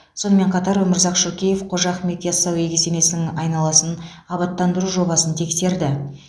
сонымен қатар өмірзақ шөкеев қожа ахмет ясауи кесенесінің айналасын абаттандыру жобасын тексерді